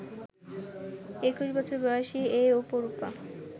২১ বছর বয়সী এই অপরূপা